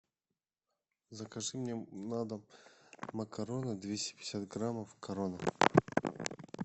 закажи мне на дом макароны двести пятьдесят граммов корона